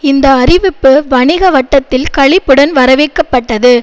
இந்த அறிவிப்பு வணிக வட்டத்தில் களிப்புடன் வரவேற்கப்பட்டது